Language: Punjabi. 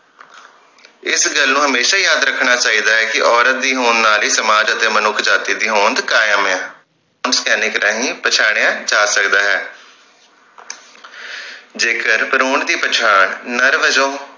ਇਸ ਗੱਲ ਨੂੰ ਹਮੇਸ਼ਾ ਹੀ ਯਾਦ ਰੱਖਣਾ ਚਾਹੀਦਾ ਹੈ ਕਿ ਔਰਤ ਦੀ ਹੋਣ ਨਾਲ ਹੀ ਸਮਾਜ ਅਤੇ ਮਨੁੱਖ ਜਾਤਿ ਦੀ ਹੋਂਦ ਕਾਇਮ ਹੈ ਪਛਾੜਿਆ ਜਾ ਸਕਦਾ ਹੈ ਜੇਕਰ ਭਰੂਣ ਦੀ ਪਛਾਣ ਨਰ ਵਜੋਂ